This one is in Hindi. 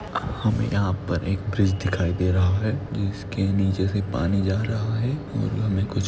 हमे यहाँ पर एक ब्रीज दिखाई दे रहा है ब्रीज के नीचे से पानी जा रहा है और हमे कुछ--